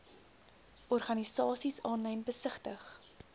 organisasies aanlyn besigtig